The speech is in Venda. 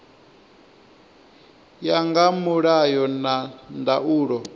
ya nga mulayo na ndaulo